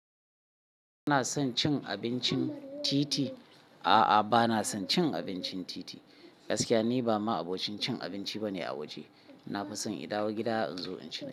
Ina son cin abincin titi--. A'a, bana son cin abincin titi. Gaskiya ni ba ma abocin cin abinci bane a waje. Na fi son in dawo gida in zo in ci.